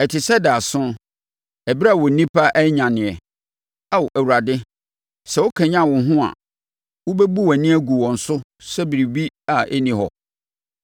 ɛte sɛ daeɛso, ɛberɛ a onipa anyaneɛ, Ao Awurade, sɛ wokanyane wo ho a, wobɛbu wʼani agu wɔn so sɛ biribi a ɛnni hɔ.